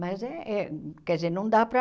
Mas, eh quer dizer, não dá para...